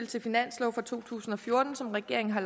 til finanslov for to tusind og fjorten som regeringen har